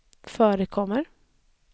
förekommer